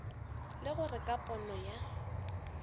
le gore ka pono ya